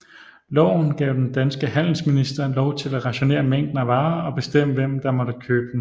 Loven gav den danske handelsminister lov til at rationere mængden af varer og bestemme hvem der måtte købe dem